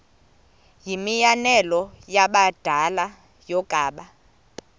yimianelo yabadala yokaba